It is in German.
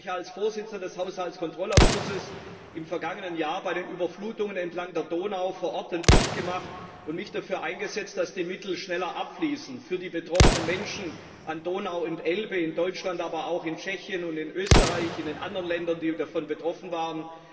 Ich habe mir als Vorsitzender des Haushaltskontrollausschusses im vergangenen Jahr bei den Überflutungen entlang der Donau vor Ort ein Bild gemacht und mich dafür eingesetzt, dass die Mittel schneller abfließen für die betroffenen Menschen an Donau und Elbe in Deutschland, aber auch in Tschechien und in Österreich, und in den anderen Ländern, die davon betroffen waren.